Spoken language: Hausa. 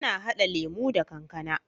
Ana hada lemo da kankAna